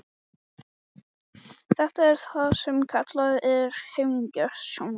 Þetta er það sem kallað er heimagert sjónvarp.